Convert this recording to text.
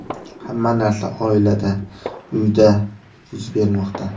Hamma narsa oilada, uyda yuz bermoqda.